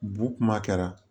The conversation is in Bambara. Bu kuma kɛra